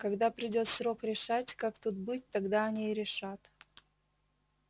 когда придёт срок решать как тут быть тогда они и решат